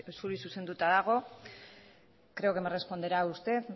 zuri zuzenduta dago creo que me responderá usted